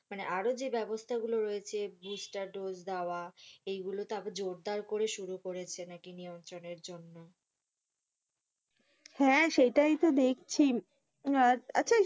মানে, আরো যে ব্যবস্থা গুলো রয়েছে Booster dose দেওয়া, এই গুলো জোরদার করে শুরু নাকি নিয়ন্ত্রণের জন্য হ্যাঁ, সেটাই তো দেখছি আহ! আচ্ছা,